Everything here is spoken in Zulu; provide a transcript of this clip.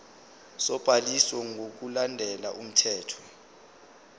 sobhaliso ngokulandela umthetho